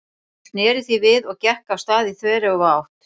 Hún sneri því við og gekk af stað í þveröfuga átt.